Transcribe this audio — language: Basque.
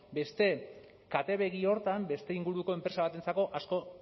beste katebegi horretan beste inguruko enpresa batentzako asko